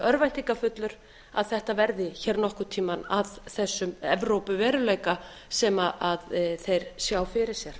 örvæntingarfull að þetta verði hér nokkurn tíma af þessum evrópuveruleika sem þeir sjá fyrir sér